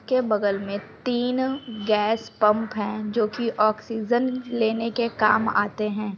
के बगल मे तीन गैस पंप है जो की आक्सीजन लेने के काम आते हैं ।